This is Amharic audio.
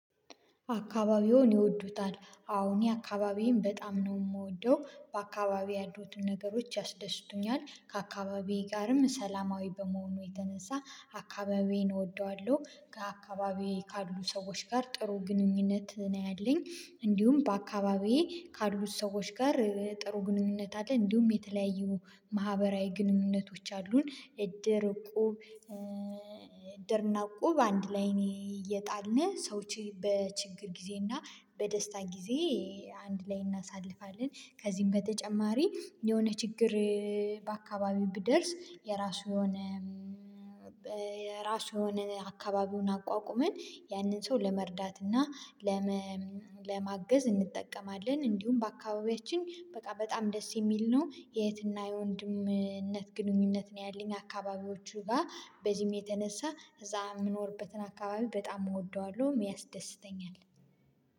አካባቢውን ይወዱታል? አዎ እኔ አካባቢዬን በጣም ነው የምወደው በአካባቢዬ ያሉትን ነገሮች ያስደስቱኛል ከአካባቢዬ ጋርም ሰላማዊ በመሆኑ የተነሳ አካባቢዬን እወደዋለሁ። ከአካባቢዬ ካሉ ሰዎች ጋር ጥሩ ግንኙነት ነው ያለኝ። እንዲሁም በአካባቢዬ ካሉት ሰዎች ጋር ጥሩ ግንኙነት አለኝ። እንዲሁም የተለያዩ ማህበራዊ ግንኙነቶች አሉን እድር እቁብ እድርና እቁብ አንድ ላይ እየጣልን ሰዎች በችግር ጊዜ እና በደስታ ጊዜ አንድ ላይ እናሳልፋለን። ከዚህም በተጨማሪ የሆነ ችግር በአካባቢው ብደርስ የራሱ የሆነ የራሱ የሆነ አካባቢውን አቋቁመን ያንን ሰው ለመርዳት እና ለማገዝ እንጠቀማለን። እንዲሁም በአካባቢያችን በቃ በጣም ደስ የሚል ነው የእህትና የወንድምነት ግንኙነት ነው ያለኝ አካባቢዎቹ ጋር በዚህም የተነሳ እዛ የምኖርበትን አካባቢ በጣም እወደዋለሁም ያስደስተኛል።